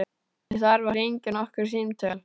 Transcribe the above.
Ég þarf að hringja nokkur símtöl.